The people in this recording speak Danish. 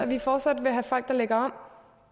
vi fortsat vil have folk der lægger